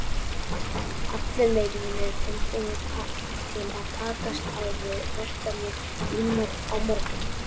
Allir leikmenn eru tilbúnir til að takast á við verkefnið á morgun.